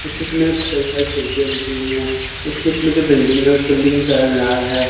उस चित्र में कई सारी खिड़कियां दिख रही हैं उस चित्र में जो बिल्डिंग है उस बिल्डिंग का कलर लाल है।